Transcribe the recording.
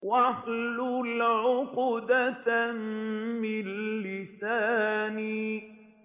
وَاحْلُلْ عُقْدَةً مِّن لِّسَانِي